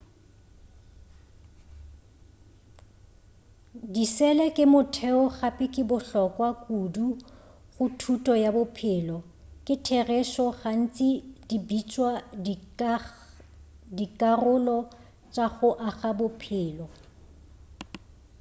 disele ke motheo gape di bohlokwa kudu go thuto ya bophelo ka therešo gantši di bitšwa dikarolo tša go aga bophelo